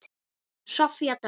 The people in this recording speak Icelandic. Soffía Dögg.